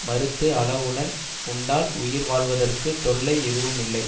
மறுத்து அளவுடன் உண்டால் உயிர் வாழ்வதற்குத் தொல்லை எதுவுமில்லை